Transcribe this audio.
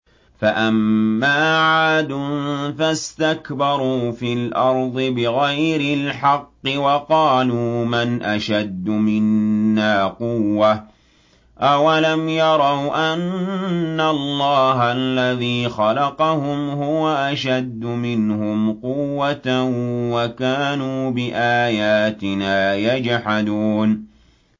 فَأَمَّا عَادٌ فَاسْتَكْبَرُوا فِي الْأَرْضِ بِغَيْرِ الْحَقِّ وَقَالُوا مَنْ أَشَدُّ مِنَّا قُوَّةً ۖ أَوَلَمْ يَرَوْا أَنَّ اللَّهَ الَّذِي خَلَقَهُمْ هُوَ أَشَدُّ مِنْهُمْ قُوَّةً ۖ وَكَانُوا بِآيَاتِنَا يَجْحَدُونَ